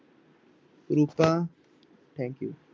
ਰੂਪਾਂ thank you